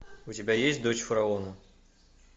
у тебя есть дочь фараона